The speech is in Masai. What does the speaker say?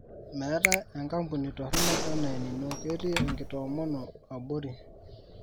meetae enkapuni toronok enaa enino ketii enkitomomo abori